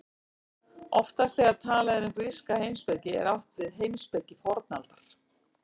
Oftast þegar talað er um gríska heimspeki er átt við heimspeki fornaldar.